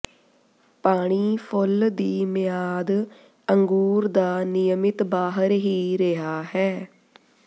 ਪਾਣੀ ਫੁੱਲ ਦੀ ਮਿਆਦ ਅੰਗੂਰ ਦਾ ਨਿਯਮਿਤ ਬਾਹਰ ਹੀ ਰਿਹਾ ਹੈ